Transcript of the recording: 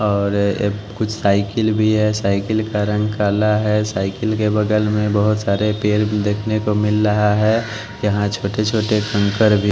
और कुछ साइकिल भी है साइकिल का रंग काला है साइकिल के बगल में बहुत सारे पेर देखने को मिल रहा है यहां छोटे-छोटे कंकर भी--